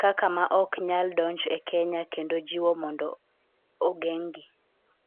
kaka ma ok nyal donj e Kenya kendo jiwo mondo ogeng'gi.